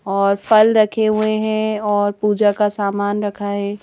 और फल रखे हुए हैं और पूजा का सामान रखा है।